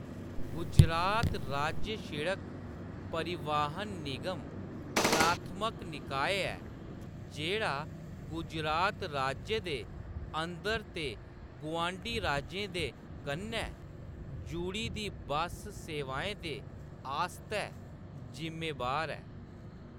गुजरात राज्य सिड़क परिवहन निगम प्राथमक निकाय ऐ जेह्‌‌ड़ा गुजरात राज्य दे अंदर ते गुआंढी राज्यें दे कन्नै जुडी दी बस्स सेवाएं दे आस्तै ज़िम्मेवार ऐ।